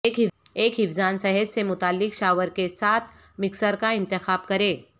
ایک حفظان صحت سے متعلق شاور کے ساتھ مکسر کا انتخاب کریں